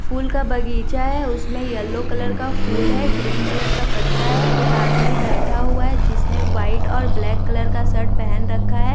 फूल का बगीचा है उसमें येलो कलर का फूल है ग्रीन कलर का पत्ता है एक आदमी बैठा हुआ है जिसने व्हाइट और ब्लैक कलर का शर्ट पहन रखा है।